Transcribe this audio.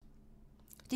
DR1